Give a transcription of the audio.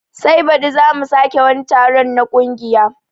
Sai baɗi zamu sake wani taron na kungiya